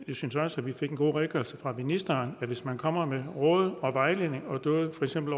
jeg synes også at vi fik en god redegørelse fra ministeren at hvis man kommer med råd og vejledning og dåd for eksempel